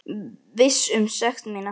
Viss um sekt mína.